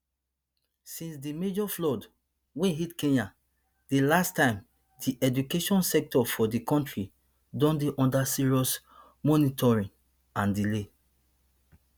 since di major floods wey hit kenya di last time di education sector for di country don dey under serious monitoring and delay